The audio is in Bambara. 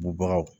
Bubagaw